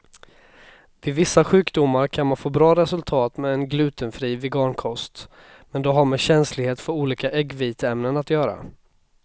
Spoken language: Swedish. Vid vissa sjukdomar kan man få bra resultat med en glutenfri vegankost, men det har med känslighet för olika äggviteämnen att göra.